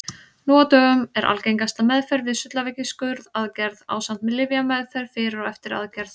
Nú á dögum er algengasta meðferð við sullaveiki skurðaðgerð ásamt lyfjameðferð fyrir og eftir aðgerð.